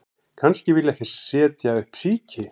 Kannski vilja þeir setja upp síki